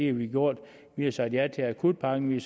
har vi gjort vi har sagt ja til akutpakken vi